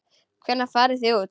Hvenær farið þið út?